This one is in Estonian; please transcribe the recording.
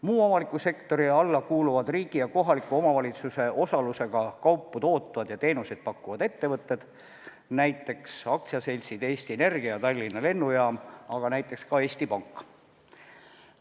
Muu avaliku sektori alla kuuluvad riigi ja kohaliku omavalitsuse osalusega kaupu tootvad ja teenuseid pakkuvad ettevõtted, näiteks aktsiaseltsid Eesti Energia ja Tallinna Lennujaam, aga ka Eesti Pank.